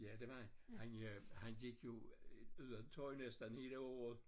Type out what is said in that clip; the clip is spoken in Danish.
Ja det var han han øh han gik jo ud uden tøj næsten i 1 år